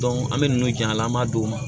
an bɛ ninnu jira an na an b'a d'u ma